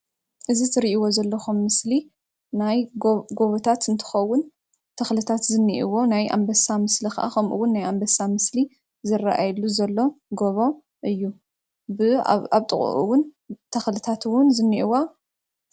እዚ እትሪእዎ ዘለኩም ጎቦታት እንትከውን ተክልታት ዘለዎ ናይ ኣንበሳ ምስሊ ከምኡውን ናይ ኣንበሳ ምስሊ ዝረኣየሉ ዘሎ ጎቦ እዩ ኣብ ጥቅኡ እውን ተክልታት ኣለዎ፡፡